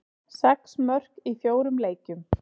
Sex mörk í fjórum leikjum.